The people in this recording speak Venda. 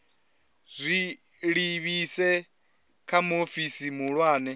zwi livhise kha muofisi muhulwane